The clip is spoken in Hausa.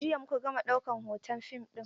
Jiya muka gama ɗaukan hoton fim ɗin.